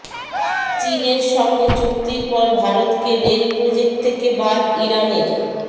চীনের সঙ্গে চুক্তির পর ভারতকে রেল প্রজেক্ট থেকে বাদ ইরানের